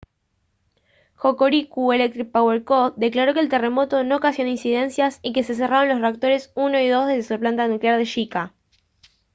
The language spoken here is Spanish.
hokuriku electric power co declaró que el terremoto no ocasionó incidencias y que se cerraron los reactores 1 y 2 de su planta nuclear de shika